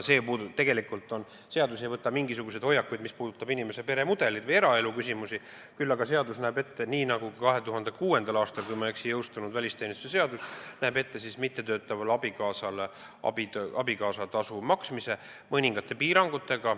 Eelnõu ei võta mingisuguseid hoiakuid, mis puudutavad inimese peremudelit või eraeluküsimusi, küll aga näeb eelnõu ette, nii nagu ka 2006. aastal, kui ma ei eksi, jõustunud välisteenistuse seadus, mittetöötavale abikaasale abikaasatasu maksmise, mõningate piirangutega.